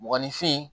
Mɔgɔninfin